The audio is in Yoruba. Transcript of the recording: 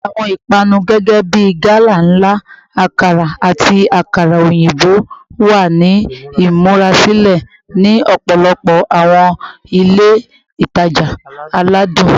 Awọn ipanu gẹgẹbi gala nla, akara, ati akara oyinbo wa ni imurasilẹ ni ọpọlọpọ awọn ile itaja aladun.